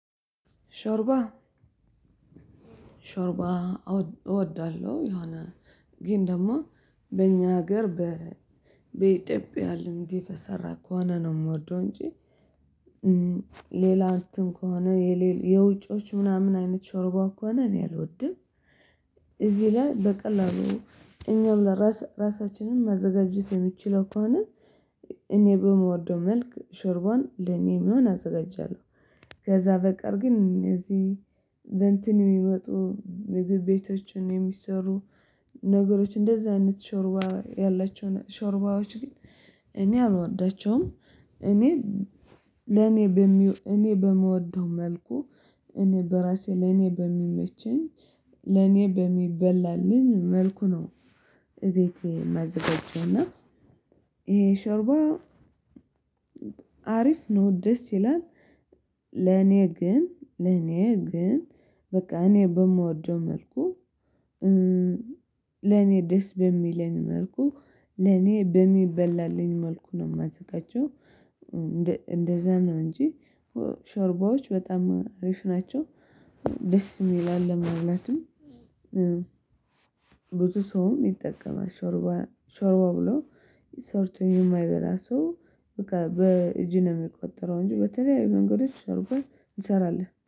ሾርባ ሾርባ አወ እወዳለሁ የሆነ ግን ደግሞ በእኛ ሀገር በኢትዮጵያ ልምድ የተሰራ ከሆነ ነው የምወደው እንጂ ሌላ እንትን ከሆነ የውጪዎች ምናምን አይነት ሾርባ ከሆነ እኔ አልወድም። ላይ በቀላሉ እኛም ለራሳ ራሳችንን ማዘጋጀት የምንችለው ከሆነ እኔ በምወደው መልክ ሾርቧን ለእኔ የሚሆን አዘጋጃለሁ። ከዛ በቀር ግን እዚህ በእንትን የሚመጡ ምግብ ቤቶችን የሚሰሩ ነገሮች እንደዛ አይነት ሾርባ ያላቸው ሾርባዎች ግን እኔ አልወዳቸውም። እኔ ለኔ በሚው እኔ በምወደው መልኩ እኔ በራሴ ለኔ በሚመቸኝ ለኔ በሚበላልኝ መልኩ ነው። እቤቴ የማዘጋጀውና ይሄ ሾርባ አሪፍ ነው ደስ ይላል። ለኔ ግን ለኔ ግን በቃ እኔ በምወደው መልኩ ለኔ ደስ በሚለኝ መልኩ ለኔ በሚበላልኝ መልኩ ነው የማዘጋጀው። እንደ እንደዛ ነው እንጂ ሾርባዎች በጣም አሪፍ ናቸው ደስ የሚል አለ ማለትም። ብዙ ሰውም ይጠቀማል ሾርባ ሾርባ ብሎ ስርቶ የማይበላ ሰው በቃ በእጅ ነው የሚቆጠረው እንጂ በተለያዩ መንገዶች ሾርባ እንሰራለን